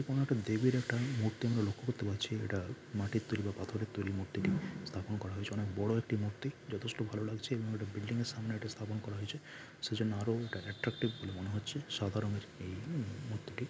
কোনো একটা দেবীর একটা মূর্তি আমরা লক্ষ্য করতে পারছি এটা মাটির তৈরী বা পাথর এর তৈরী স্থাপন করা হয়েছে অনেক বড় একটি মূর্তি যথেষ্ট ভাল লাগছে এবং একটা বিল্ডিং এর সামনে এটি স্থাপন করা হয়েছে সেই জন্য আরও এটা অ্যাট্রাক্টিভ বলে মনে হচ্ছে সাদা রঙের এই মূ-মূর্তিটি ।